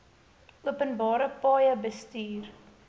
openbare paaie bestuur